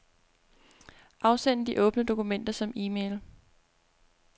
Afsend de åbne dokumenter som e-mail.